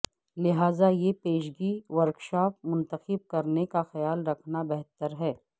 لہذا یہ پیشگی ورکشاپ منتخب کرنے کا خیال رکھنا بہتر ہے